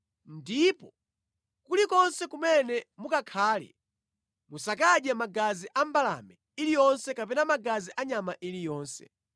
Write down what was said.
Ndipo kulikonse kumene mukakhale musakadye magazi a mbalame iliyonse kapena magazi a nyama iliyonse.